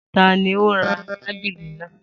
Ta ni ó ra tábìlì náà?